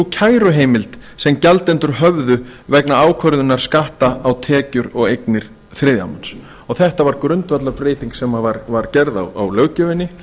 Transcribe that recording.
kæruheimild sem gjaldendur höfðu vegna ákvörðunar skatta á tekjur og eignir þriðja manns þetta var grundvallarbreyting sem var gerð á löggjöfinni